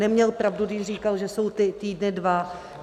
Neměl pravdu, když říkal, že jsou ty týdny dva.